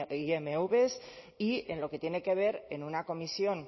imv y en lo que tiene que ver en una comisión